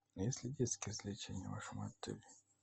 есть ли детские развлечения в вашем отеле